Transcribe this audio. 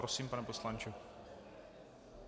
Prosím, pane poslanče.